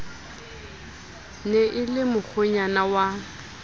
ne e le mokgwenyana wa